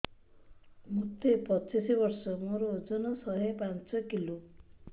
ମୋତେ ପଚିଶି ବର୍ଷ ମୋର ଓଜନ ଶହେ ପାଞ୍ଚ କିଲୋ